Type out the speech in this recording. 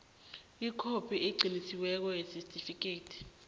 ikhophi eqinisekisiweko yesitifikhethi